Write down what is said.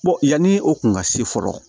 yanni o kun ka se fɔlɔ